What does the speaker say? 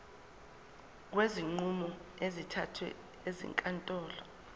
kwezinqumo ezithathwe ezinkantolo